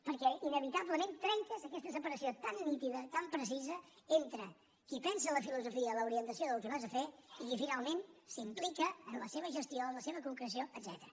perquè inevitablement trenques aquesta separació tan nítida tan precisa entre qui pensa la filosofia l’orientació del que vas a fer i qui finalment s’implica en la seva gestió en la seva concreció etcètera